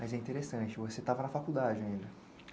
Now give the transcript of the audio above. Mas é interessante, você estava na faculdade ainda.